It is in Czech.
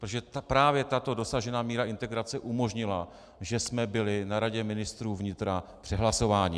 Protože právě tato dosažená míra integrace umožnila, že jsme byli na Radě ministrů vnitra přehlasováni.